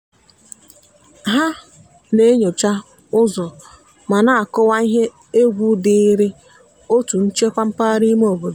ha na-enyocha ụzọ ma na-akọwa ihe egwu dịịrị otu nchekwa mpaghara ime obodo.